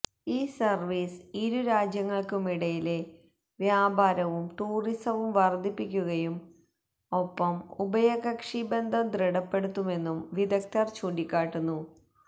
ഈ സര്വീസ് ഇരുരാജ്യങ്ങള്ക്കുമിടയിലെ വ്യാപാരവും ടൂറിസവും വര്ധിപ്പിക്കുകയും ഒ്പ്പം ഉഭയകക്ഷി ബന്ധം ദൃഢപ്പെടുത്തുമെന്നും വിദഗ്ധര് ചൂണ്ടിക്കാട്ടുന്നു